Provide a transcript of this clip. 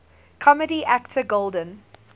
comedy actor golden